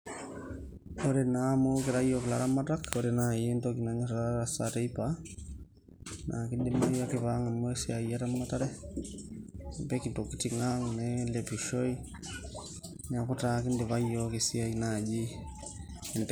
ore naa amu ekira iyiok ilaramatak oree naaji nanyorr atasa teipa na kidimayu ake pangamu esiai eramatare, apik intokitin ang nelepishoi niaku kindipa na yiok esiai najii enteipa.